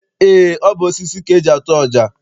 Eé, ọ bụ osisi ka eji atụ ọja.